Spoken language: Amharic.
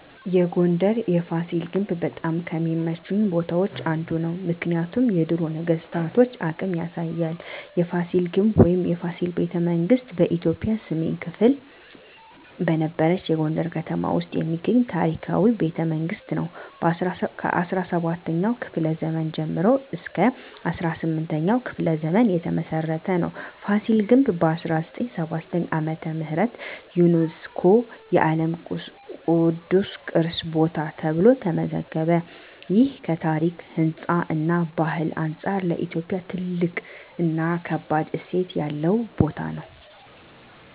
የጎንደር የፋሲል ግንብ በጣም ከሚመቹኝ ቦታዎች አንዱ ነው። ምክንያቱም የድሮ ነገስታቶን አቅም ያሳያል። የፋሲል ግንብ ወይም “የፋሲል ቤተመንግስት ” በኢትዮጵያ ሰሜን ክፍል በነበረችው የጎንደር ከተማ ውስጥ የሚገኝ ታሪካዊ ቤተመንግስት ነው። ከ17ኛው ክፍለ ዘመን ጀምሮ እስከ 18ኛው ክፍለ ዘመን የተመሰረተ ነው። ፋሲል ግንብ በ1979 ዓ.ም. ዩነስኮ የዓለም ቅዱስ ቅርስ ቦታ ተብሎ ተመዘገበ። ይህ ከታሪክ፣ ህንፃ እና ባህል አንጻር ለኢትዮጵያ ትልቅ እና ከባድ እሴት ያለው ቦታ ነው።